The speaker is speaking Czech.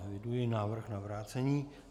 Eviduji návrh na vrácení.